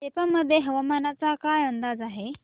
सेप्पा मध्ये हवामानाचा काय अंदाज आहे